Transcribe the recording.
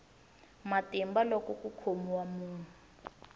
matimba loko ku khomiwa munhu